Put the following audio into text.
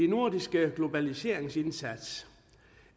nordiske globaliseringsindsats